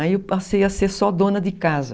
Aí eu passei a ser só dona de casa.